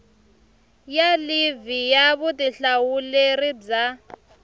ya livhi ya vutihlamuleri bya